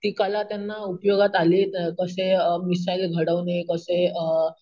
ती कला त्यांना उपयोगात आली अम कसे मिसाईल घडवणे अम कसे अम